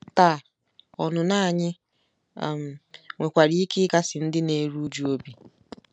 Taa, ọnụnọ anyị um nwekwara ike ịkasi ndị na-eru uju obi.